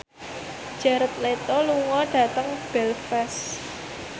Jared Leto lunga dhateng Belfast